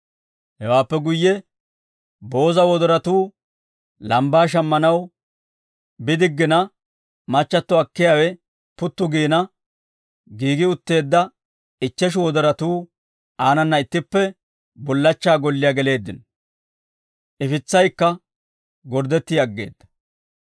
Hewaappe guyye booza wodoratuu lambbaa shammanaw bidiggina, machchatto akkiyaawe puttu giina, giigi utteedda ichcheshu wodoratuu aanana ittippe bullachchaa golliyaa geleeddino; ifitsaykka gorddetti aggeedda.